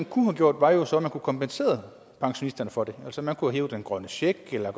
kunne have gjort var jo så at man kunne have kompenseret pensionisterne for det altså man kunne have hævet den grønne check eller